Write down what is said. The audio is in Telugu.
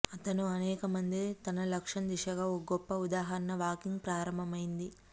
అతను అనేక మంది తన లక్ష్యం దిశగా ఒక గొప్ప ఉదాహరణ వాకింగ్ ప్రారంభమైంది